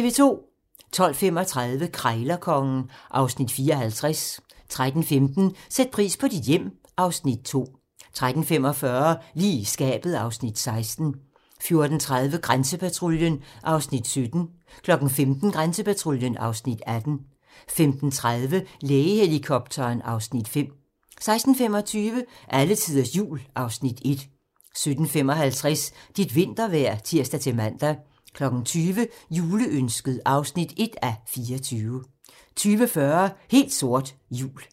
12:35: Krejlerkongen (Afs. 54) 13:15: Sæt pris på dit hjem (Afs. 2) 13:45: Lige i skabet (Afs. 16) 14:30: Grænsepatruljen (Afs. 17) 15:00: Grænsepatruljen (Afs. 18) 15:30: Lægehelikopteren (Afs. 5) 16:25: Alletiders Jul (Afs. 1) 17:55: Dit vintervejr (tir-man) 20:00: Juleønsket (1:24) 20:40: Helt sort - jul